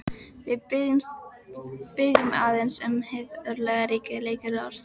Við biðjum aðeins um hið örlagaríka lykilorð.